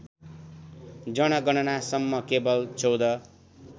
जनगणनासम्म केवल १४